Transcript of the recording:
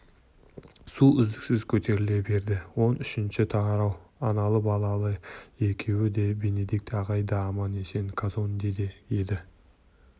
су үздіксіз көтеріле берді он үшінші тарау аналы-балалы екеуі де бенедикт ағай да аман-есен казондеде еді